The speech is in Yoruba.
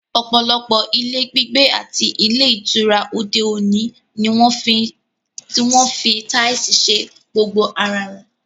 Ọ̀pọ̀lọpọ̀ ilé gbígbé àti ilé ìtura òde òní ni wọ́n ń fi táìsì ṣe gbogbo ara rẹ̀